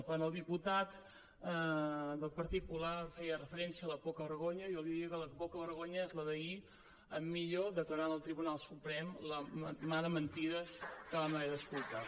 quan el diputat del partit popular feia referència a la poca vergonya jo li diria que la poca vergonya és la d’ahir d’en millo declarant al tribunal suprem la mà de mentides que vam haver d’escoltar